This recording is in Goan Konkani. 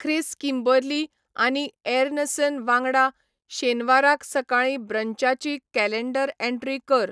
ख्रीस किंबर्ली आनी ऍरनसन वांगडा शेनवाराक सकाळीं ब्रंचाची कॅलँडर ऍंट्री कर